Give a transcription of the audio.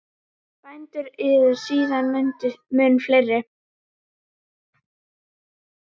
Bændur eru síðan mun fleiri.